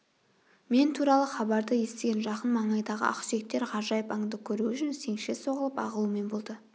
мен туралы хабарды естіген жақын маңайдағы ақсүйектер ғажайып анды көру үшін сеңше соғылып ағылумен болды